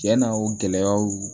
Cɛnna o gɛlɛyaw